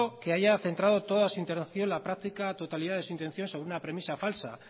que haya centrado toda su intervención la práctica totalidad de su intención sobre una premisa falsa